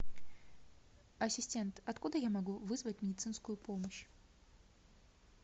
ассистент откуда я могу вызвать медицинскую помощь